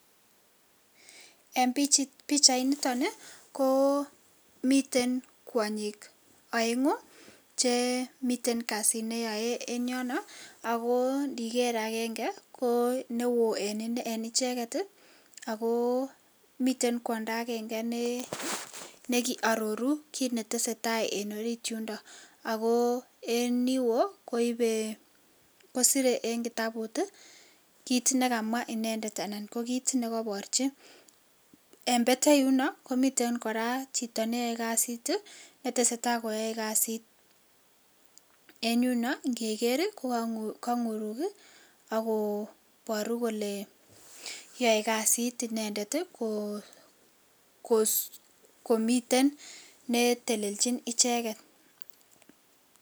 En bichait niton ko miten kwanyik aengu Chemiten kasit neyoe en yono ako ndiker agenge ki neon en tugul en icheket ako miten kwando agenge be aroru kit netesetai en orit yuton ako en Yun wo koibe kosire en kitabut kit nikamwa inendet anan ko kit nikabarchi en betei yuno ko miten kora Chito neyame kasit netesetai koyae kasit en yuno ngeger kokangurukso akobaru Kole yaw kasit inendet komiten netelenjin icheken